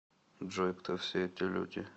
джой кто все эти люди